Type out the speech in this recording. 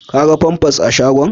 Ka ga famfas a shagon?